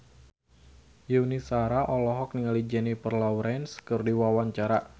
Yuni Shara olohok ningali Jennifer Lawrence keur diwawancara